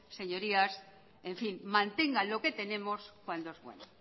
señorías en fin mantengan lo que tenemos cuando es bueno